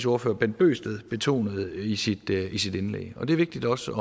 ordfører bent bøgsted betonede i sit i sit indlæg og det er vigtigt også